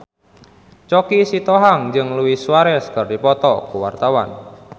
Choky Sitohang jeung Luis Suarez keur dipoto ku wartawan